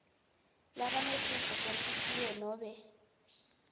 labanesifo senhlitiyo nobe